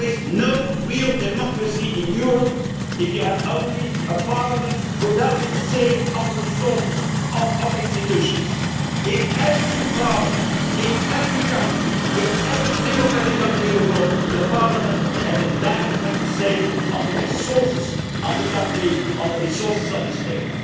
Union. There is no real democracy in Europe if you only have a parliament with no say in the resources of its institutions. In every parliament, in every country, in every democratic country in the world, the parliament has a direct say on the resources of the country, on the resources